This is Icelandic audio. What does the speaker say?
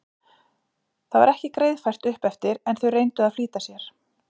Það var ekki greiðfært upp eftir en þau reyndu að flýta sér.